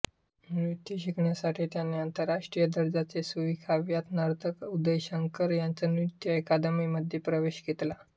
नृत्य शिकण्यासाठी त्यांनी आंतरराष्ट्रीय दर्जाचे सुविख्यात नर्तक उदय शंकर यांच्या नृत्य अकादमीमध्ये प्रवेश घेतला